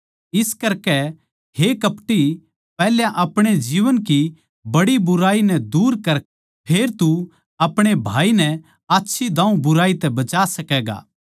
इस करकै हे कपटी पैहल्या अपणी जीवन की बुराई दूर कर फेर तू अपणे भाई नै आच्छी दाऊँ बुराई तै बचा सकैगा